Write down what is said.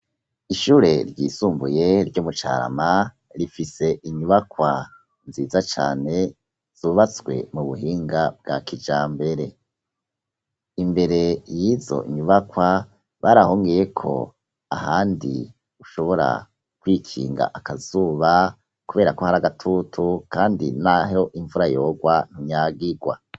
Ishure ryisumbuye ryo mu Carama rifise inyubakwa nziza cane zubatswe mu buhinga bwa kijambere, imbere yizo nyubakwa barahongeyeko ahandi ushobora kwikinga akazuba kuberako hari agatutu kandi naho imvura yogwa ntunyagigwa.